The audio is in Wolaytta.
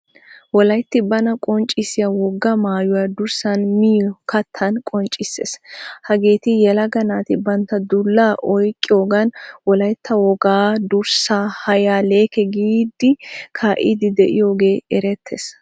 Wolaytti bana qonccissiyaa wogaa maayuwan, durssan, miyo kattan qonccissees. Hageeti yelaga naati bantta dulla oyqqiyogan wolaytta wogaa durssan hayya leekke giidi kaidi deiyoge erettees.